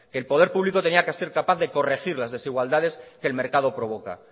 que el poder público tenía que ser capaz de corregir las desigualdades que el mercado provoca